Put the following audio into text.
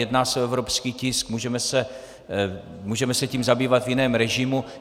Jedná se o evropský tisk, můžeme se tím zabývat v jiném režimu.